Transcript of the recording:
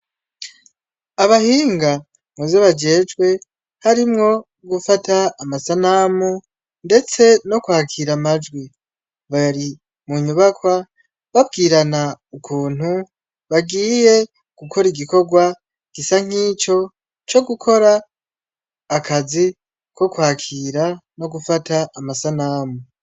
Abahinga muzi bajejwe harimwo gufata amasanamu, ndetse no kwakira amajwi bari mu nyubakwa babwirana ukuntu bagiye gukora igikorwa gisa nk'ico co gukora akazi bokwakira no gufata amasanamu.